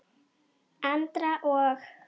Andra og